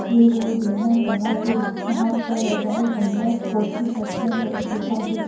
एक ओर बेना टंगा है जहां पर रजाय कंबल फोर्टी परसेंट ऑफ लिखा है।